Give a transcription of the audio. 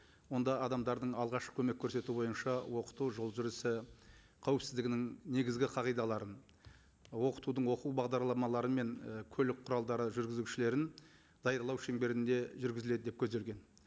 онда адамдардың алғашқы көмек көрсету бойынша оқыту жол жүрісі қауіпсіздігінің негізгі қағидаларын оқытудың оқу бағдарламалары мен і көлік құралдары жүргізушілерін даярлау шеңберінде жүргізіледі деп көзделген